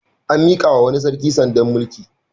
An miƙawa wani sarki sandar mulki.